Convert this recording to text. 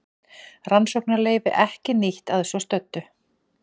Rannsóknarleyfi ekki nýtt að svo stöddu